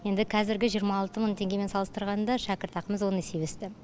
енді қазіргі жиырма алты мың теңгемен салыстырғанда шәкіртақымыз он есе өсті